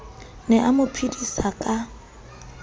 ne a mo phedisa ka